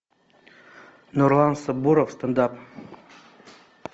нурлан сабуров стенд ап